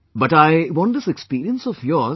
But I want this experience of yours